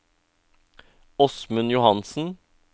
Åsmund Johansen